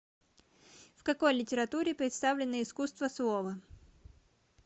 в какой литературе представлено искусство слова